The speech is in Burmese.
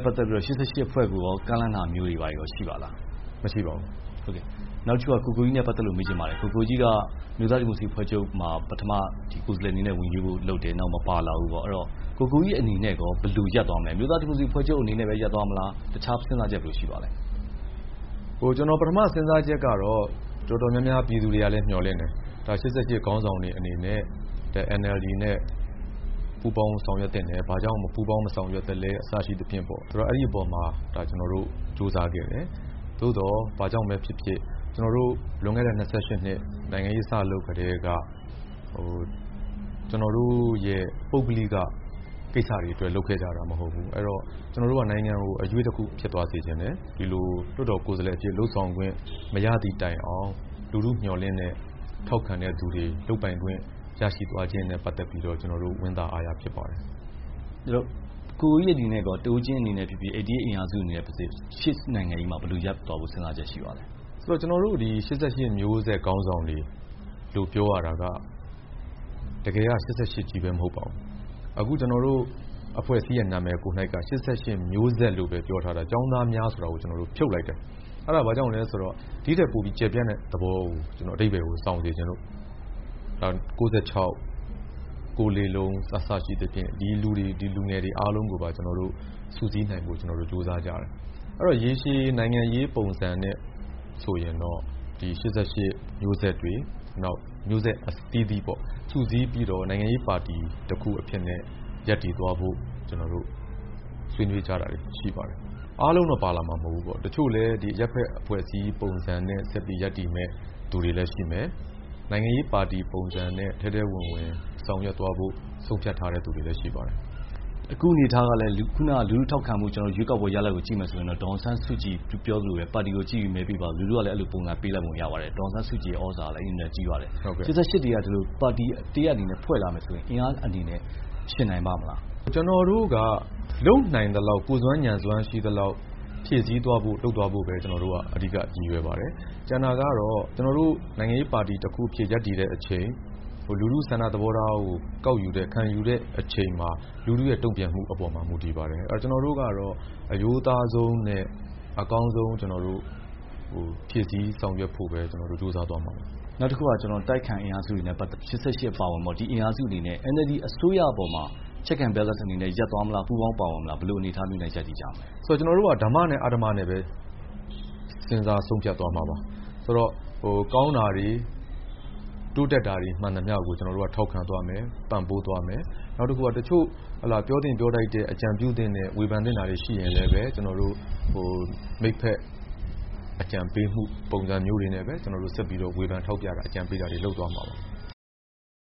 ပတ်သက်ပြီး ၈၈မျိုးဆက်ကို ကမ်းလှမ်းတာမျိုးတွေ ရှိပါသလား။ မရှိပါဘူး။ နောက်တခုက ကိုကိုကြီးနဲ့ ပတ်သက်လို့ မေးချင်ပါတယ်။ ကိုကိုကြီးက အမျိုးသားဒီမိုကရေစီအဖွဲ့ချုပ်မှာ ပထမ ကိုယ်စားလှယ်အနေနဲ့ ဝင်ရွေးဖို့ လုပ်တယ်။ နောက် မပါလာဘူးပေါ့။ အဲ့ဒီ့တော့ ကိုကိုကြီးအနေနဲ့ ဘယ်လို ရပ် သွားမလဲ။ အမျိုးသားဒီမိုကရေစီအဖွဲ့ချုပ် အနေနဲ့ပဲ ရပ်သွားမလား။ တခြား စဉ်းစားချက် ဘယ်လိုရှိပါသလဲ။ ကျနော် ပထမ စဉ်းစားချက်ကတော့ တော်တော် များများ ပြည်သူတွေ ကလဲ မျှော်လင့်တယ်။ ၈၈ခေါင်းဆောင်တွေအနေနဲ့ NLD နဲ့ ပူးပေါင်းဆောင်ရွက် သင့်တယ်။ ဘာကြောင့် မပူးပေါင်း မဆောင်ရွက်သလဲ အစရှိသဖြင့်ပေါ့။ ဆိုတော့ အဲ့ဒီ့အပေါ်မှာ ကျနော်တို့ ကြိုးစားခဲ့တယ်။ သို့သော် ဘာကြောင့်ပဲဖြစ်ဖြစ် ကျနော်တို့ လွန်ခဲ့တဲ့ ၂၈နှစ် နိုင်ငံရေး စလုပ်ကတည်းက ကျနော်တို့ရဲ့ ပုဂ္ဂလိက ကိစ္စတွေ အတွက် လုပ်ခဲ့ကြတာ မဟုတ်ဘူး။ ကျနော်တို့က နိုင်ငံကို အရွေ့တခု ဖြစ်သွားစေချင်တယ်။ ဒီလို လွှတ်တော် ကိုယ်စားလှယ် အဖြစ် လုပ်ဆောင်ခွင့် မရသည့်တိုင်အောင် လူထုမျှော်လင့်တဲ့ ထောက်ခံတဲ့သူတွေ လုပ်ပိုင်ခွင့် ရရှိသွားခြင်းနဲ့ပတ်သက်ပြီးတော့ ကျေျနာ်တို့ ဝမ်းသာအားရဖြစ်ပါတယ်။ ကိုကိုကြီးအနေနဲ့ရော တဦးချင်းအနေနဲ့ဖြစ်ဖြစ် ၈၈အင်အားစု အနေနဲ့ဖြစ်စေ ရှေ့နိုင်ငံရေးမှာ ဘယ်လိုရပ်သွားဖို့ စဉ်းစားချက် ရှိပါသလဲ။ ဆိုတော့ ကျနော်တို့ ၈၈မျိုးဆက် ခေါင်းဆောင်တွေလို့ ပြောရတာက တကယ်က ၈၈ ချည်းပဲ မဟုတ်ပါဘူး။ အခုကျနော်တို့ အဖွဲ့အစည်းရဲ့ နာမည်ကိုယ်နှိုက်က ၈၈မျိုးဆက်လို့ပဲ ပြောထားတာ။ ကျောင်းသားများ ဆိုတာကို ကျနော်တို့ ဖြုတ်လိုက်တယ်။ အဲ့တာ ဘာကြောင့်လဲဆိုတော့ ဒီ့ထက်ပိုပြီး ကျယ်ပြန့်တဲ့ သဘောကို အဓိပ္ပါယ်ကို ဆောင်စေချင်လို့ ၉၆၊ ၉လေးလုံး အစရှိသဖြင့် ဒီလူတွေ ဒီလူငယ်တွေ အားလုံးကို စုစည်းနိုင်ဖို့ ကျနော်တို့ ကြိုးစားကြတယ်။ အဲ့တော့ ရေရှည်နိုင်ငံရေးပုံစံနဲ့ ဆိုရင်တော့ ဒီ ၈၈မျိုးဆက်တွေ မျိုးဆက်အသီးသီးပေါ့ စုစည်းပြီးတော့ နိုင်ငံရေးပါတီတခုအဖြစ်နဲ့ရပ်တည်သွားဖို့ ကျနော်တို့ ဆွေးနွေးကြ တာတွေရှိပါတယ်။ အားလုံးတော့ ပါလာမှာ မဟုတ်ဘူးပေါ့။ တချို့လည်း အရပ်ဖက် အဖွဲ့အစည်းပုံစံနဲ့ ဆက်ပြီး ရပ်တည်မယ့် သူတွေလည်း ရှိမယ်။ နိုင်ငံရေးပါတီပုံစံနဲ့ ထဲထဲဝင်ဝင် ဆောင်ရွက်သွားဖို့ ဆုံးဖြတ်ထားတဲ့သူတွေလည်း ရှိပါတယ်။ အခုအနေအထားကလည်း လူထုထောက်ခံမှု ရွေးကောက်ပွဲ ရလဒ်ကို ကျနော်တို့ ကြည့်မယ်ဆိုရင်တော့ ဒေါ်အောင်ဆန်းစုကြည်ပြောသလိုပဲ ပါတီကိုပဲ မဲပေးပါဆိုတော့ လူထုကလည်း အဲ့လိုပဲ ပေးလိုက်ပုံ ရပါတယ်။ ဒေါ်အောင်ဆန်းစုကြည် ရဲ့ သြဇာကလည်း အင်မတန် ကြီးပါတယ်။ ၈၈တွေက ဒီလို ပါတီတရပ် အနေနဲ့ ဖွဲ့လာမယ်ဆိုရင် အင်အားအနေနဲ့ ယှဉ်နိုင်ပါ့မလား။ ကျနော်တို့က လုပ်နိုင်သလောက် ကိုယ်စွမ်း ဉာဏ်စွမ်း ရှိသလောက် ဖြည့်စည်းသွားဖို့ လုပ်သွားဖို့ပဲ အဓိက ရည်ရွယ်ပါတယ်။ ကျန်တာကတော့ ကျနော်တို့ နိုင်ငံရေးပါတီ တခုအဖြစ် ရပ်တည်တဲ့အချိန် လူထု ဆန္ဒသဘောထားကို ကောက်ယူတဲ့ ခံယူတဲ့အချိန်မှာ လူထုရဲ့ တုန့်ပြန်မှုအပေါ်မှာပဲ မူတည်ပါတယ်။ ကျနော်တို့ကတော့ အရိုးသားဆုံးနဲ့ အကောင်းဆုံး ကျနော်တို့ ဖြည့်စည်းဆောင်ရွက်သွားဖို့ပဲ ကျနော်တို့ ကြိုးစားသွားမှာပါ။ နောက်တခုက အတိုက်အခံအင်အားစုတွေနဲ့ပတ်သက်လို့ ၈၈ အပါအဝင်ပေါ့ အင်အားစုတွေအနေနဲ့ NLD အစိုးရအပေါ်မှာ Check and Balance အနေနဲ့ ရပ်သွားမလား။ ပူးပေါင်းသွားမလား ဘယ်လိုအနေအထားမျိုးနဲ့ ရပ်တည်သွားမလဲ။ ဆိုတော့ ကျနော်တို့က ဓမ္မနဲ့ အဓမ္မ အနေနဲ့ပဲ စဉ်းစား ဆုံးဖြတ်သွားမှာပါ။ ဆိုတော့ ကောင်းတာတွေ တိုးတက်တာတွေ မှန်သမျှကို ကျနော်တို့က ထောက်ခံသွားမယ်။ ပံ့ပိုးသွားမယ်။ နောက်တခါ တချို့ ပြောသင့်ပြောထိုက်တဲ့ အကြံပြုသင့်တဲ့ ဝေဖန်သင့်တာတွေ ရှိရင်လည်းပဲ ကျနော်တို့ မိတ်ဖက် အကြံပေးမှု ပုံစံမျိုးတွေနဲ့ပဲ ဝေဖန်ထောက်ပြတာတွေ အကြံပေးတာတွေ လုပ်သွားမှာပါ။